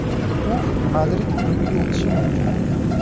U Madrid klubiga o‘tishi mumkin.